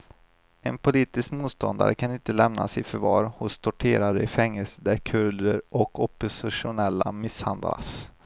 En politisk motståndare kan inte lämnas i förvar hos torterare i fängelser där kurder och oppositionella misshandlas.